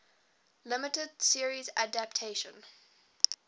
limited series adaptation